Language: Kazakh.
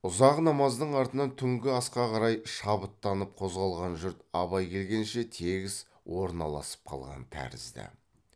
ұзақ намаздың артынан түнгі асқа қарай шабыттанып қозғалған жұрт абай келгенше тегіс орналасып қалған тәрізді